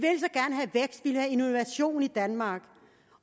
vil have innovation i danmark